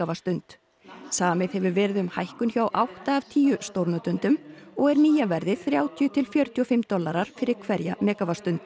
megavattsstund samið hefur verið um hækkun hjá átta af tíu stórnotendum og er nýja verðið þrjátíu til fjörutíu og fimm dollarar fyrir hverja